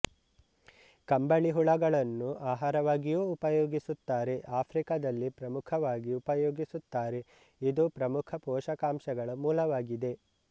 ಕಂಬಳಿಹುಳಗಳನ್ನು ಆಹಾರವಾಗಿಯೂ ಉಪಯೋಗಿಸುತ್ತಾರೆ ಆಫ್ರಿಕದಲ್ಲಿ ಪ್ರಮುಖವಾಗಿ ಉಪಯೋಗಿಸುತ್ತಾರೆ ಇದು ಪ್ರಮುಖ ಪೋಶಕಾಂಶಗಳ ಮೂಲವಾಗಿದೆ